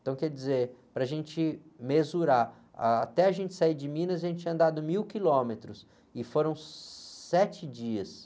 Então, quer dizer, para a gente mesurar, até a gente sair de Minas, a gente tinha andado mil quilômetros e foram sete dias.